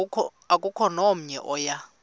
akukho namnye oya